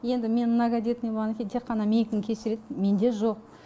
енді мен многодетный болғаннан кейін тек қана менікін кешіреді менде жоқ